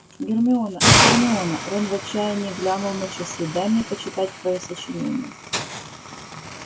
гермиона а гермиона рон в отчаянии глянул на часы дай мне почитать твоё сочинение